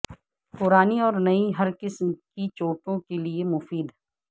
پرانی اور نئ ہر قسم کی چوٹوں کے لیے مفید